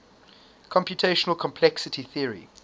computational complexity theory